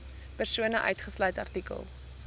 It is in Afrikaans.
persone uitgesluit artikel